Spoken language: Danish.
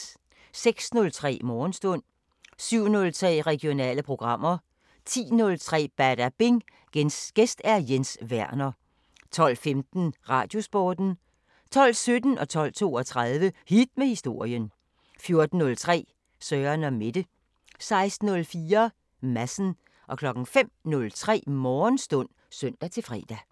06:03: Morgenstund 07:03: Regionale programmer 10:03: Badabing: Gæst Jens Werner 12:15: Radiosporten 12:17: Hit med historien 12:32: Hit med historien 14:03: Søren & Mette 16:04: Madsen 05:03: Morgenstund (søn-fre)